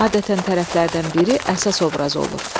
Adətən tərəflərdən biri əsas obraz olur.